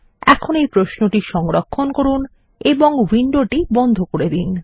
এখন এই প্রশ্ন টি সংরক্ষণ করুন এবং উইন্ডোটি বন্ধ করে দিন